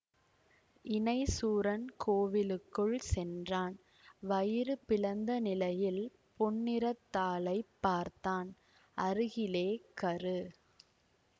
இணைசூரன் கோவிலுக்குள் சென்றான் வயிறு பிளந்தநிலையில் பொன்னிறத்தாளைப் பார்த்தான் அருகிலே கரு